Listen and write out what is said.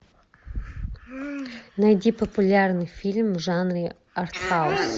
найди популярный фильм в жанре арт хаус